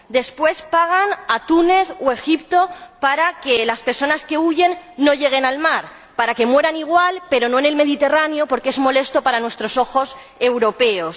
Después pagan a Túnez o Egipto para que las personas que huyen no lleguen al mar, para que mueran igual, pero no en el Mediterráneo, porque es molesto para nuestros ojos europeos.